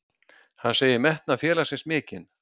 Hann segir metnað félagsins mikinn.